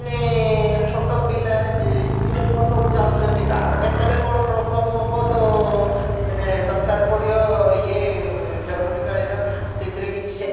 ମାନେ ଛୋଟ ପିଲା ଆଁ school ହେରିକା ସବୁ ଯାଉଛନ୍ତି କାହାର କେତେବେଳେ କଣ problem ହବ ତ ମାନେ ଦରକାର ପଡିବ ଇଏ ଜରୁରୀକାଳିନ ସ୍ଥିତିରେ କିଛି ସେମିତି